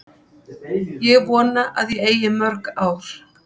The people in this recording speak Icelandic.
Ég vona að ég eigi mörg ár.